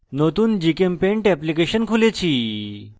নতুন gchempaint application খুলেছি